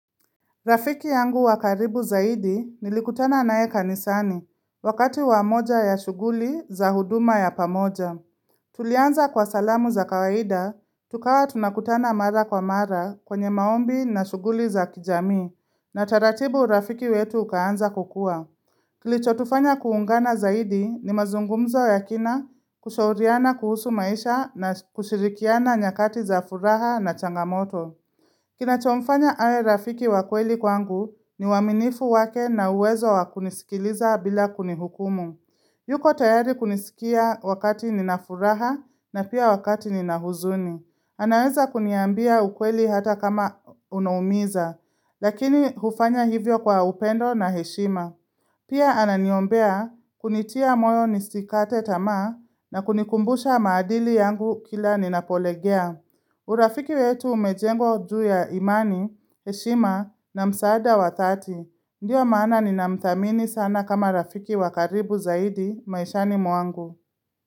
Rafiki yangu wakaribu zaidi nilikutana naye kanisani, wakati wamoja ya shuguli za huduma ya pamoja. Tulianza kwa salamu za kawaida, tukawa tunakutana mara kwa mara kwenye maombi na shuguli za kijamii, na taratibu rafiki wetu ukaanza kukua. Kilicho tufanya kuungana zaidi ni mazungumzo yakina kushauriana kuhusu maisha na kushirikiana nyakati za furaha na changamoto. Kina chomfanya awe rafiki wakweli kwangu ni uaminifu wake na uwezo wakunisikiliza bila kunihukumu yuko tayari kunisikia wakati ninafuraha na pia wakati ninahuzuni anaweza kuniambia ukweli hata kama unaumiza Lakini hufanya hivyo kwa upendo na heshima Pia ananiombea kunitia moyo nisikate tamaa na kunikumbusha maadili yangu kila ninapolegea urafiki wetu umejengwa juuya imani, heshima na msaada wathati. Ndiyo maana ni na mthamini sana kama rafiki wakaribu zaidi maishani mwangu.